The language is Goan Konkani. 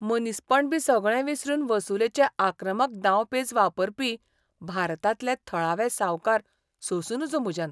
मनीसपण बी सगळें विसरून वसुलेचे आक्रमक दाव पेंच वापरपी भारतांतले थळावे सावकार सोंसूं नजो म्हज्यान.